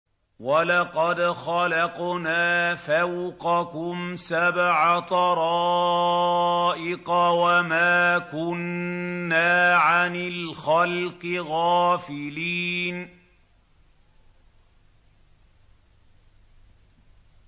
وَلَقَدْ خَلَقْنَا فَوْقَكُمْ سَبْعَ طَرَائِقَ وَمَا كُنَّا عَنِ الْخَلْقِ غَافِلِينَ